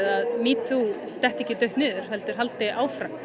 að metoo detti ekki dautt niður heldur haldi áfram